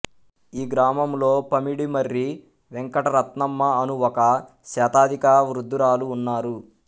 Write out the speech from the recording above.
ఈ గ్రామములో పమిడిమర్రి వెంకటరత్నమ్మ అను ఒక శతాధిక వృద్ధురాలు ఉన్నారు